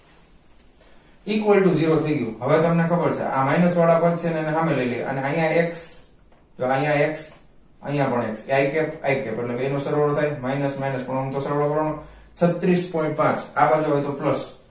equals to zero થઇ ગ્યું હવે તમને ખબર છે આ minus વાળા પદ છે એને હામે લઇ લયે અને આયા x જો આયા x આયા પણ x i cap i cap એટલે બેય નો સરવાળો નો થાઈ minus minus આનો પણ સરવાળો કરવાનો છત્રીસ point પાંચ આ બાજુ હોઈ તો plus